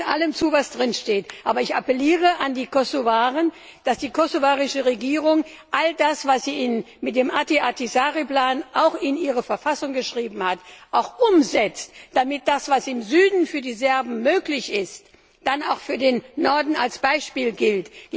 Ich stimme allem zu, was drin steht, aber ich appelliere an die Kosovaren, dass die kosovarische Regierung all das, was sie mit dem Martti Ahtisaari Plan in ihre Verfassung geschrieben hat, auch umsetzt, damit das, was im Süden für die Serben möglich ist, dann auch für den Norden als Beispiel gilt.